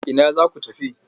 Ina za ku tafi?